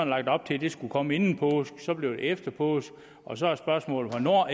lagt op til at det skulle komme inden påske så blev det efter påske og så er spørgsmålet hvornår